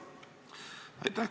Aitäh!